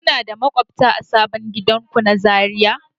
Kuna da maƙwabta a sabon gidanku na Zariya?